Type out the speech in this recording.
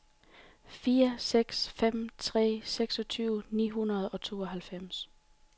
fire seks fem tre seksogtyve ni hundrede og tooghalvfems